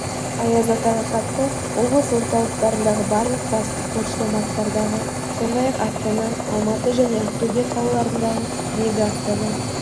аяз атаға хатты облыс орталықтарындағы барлық басты почтамттардағы сондай-ақ астана алматы және ақтөбе қалаларындағы мега астана